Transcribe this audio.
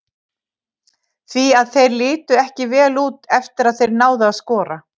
Því að þeir litu ekki vel út eftir að þeir náðu að skora.